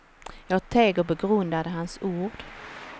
Jag teg och begrundade hans ord.